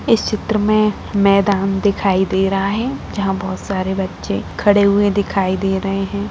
इस चित्र में मैदान दिखाई दे रहा है जहाँ बहुत सारे बच्चे खड़े हुए दिखाई दे रहे हैं।